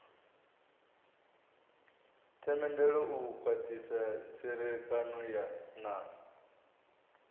themendelo u khwathisa tserekano na